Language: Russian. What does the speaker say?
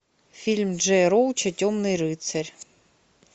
фильм джея роуча темный рыцарь